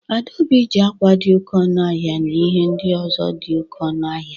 Adaobi ji akwa dị oké ọnụ ahịa na ihe ndị ọzọ dị oké ọnụ ahịa.